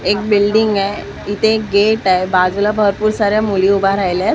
एक बिल्डिंग आहे इथे गेट आहे बाजूला भरपूर साऱ्या मुली उभ्या राहिल्या आहेत.